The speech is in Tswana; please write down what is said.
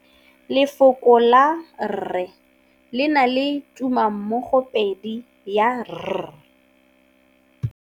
Lefoko la rre le na le tumammogôpedi ya, r.